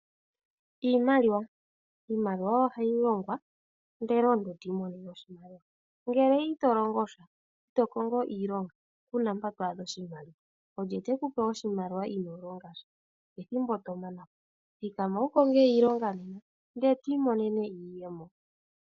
Iimaliwa. Iimaliwa ohayi longwa, opo omuntu i imonene oshimaliwa. Ngele ito kongo iilonga, ku na mpoka to adha oshimaliwa. Olye tekupe oshimaliwa ino longasha? Ethimbo owala tomana po. Konga iilonga nena, opo wi imonene iiyemo.